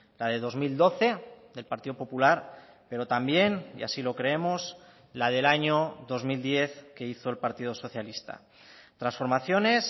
la de dos mil doce del partido popular pero también y así lo creemos la del año dos mil diez que hizo el partido socialista transformaciones